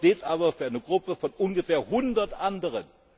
wird. Dieser Stoff steht aber für eine Gruppe von ungefähr hundert anderen.